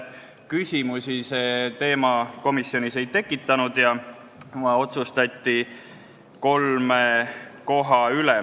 Küsimusi see teema komisjonis ei tekitanud ja otsustati kolm asja.